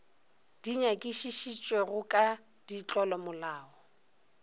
di nyakišišitšwego ka ga ditlolomolao